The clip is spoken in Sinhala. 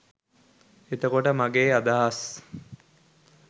එතකොට මගේ අදහස්